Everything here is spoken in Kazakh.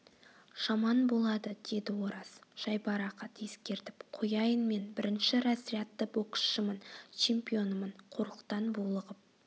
жаман болады деді ораз жайбарақат ескертіп қояйын мен бірінші разрядты боксшымын чемпионымын қорлықтан булығып